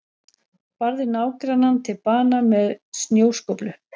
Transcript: Barði nágrannann til bana með snjóskóflu